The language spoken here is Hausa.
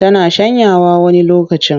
Tana shanyawa wani lokacin.